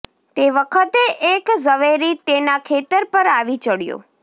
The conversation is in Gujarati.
તે વખતે એક ઝવેરી તેના ખેતર પર આવી ચડ્યો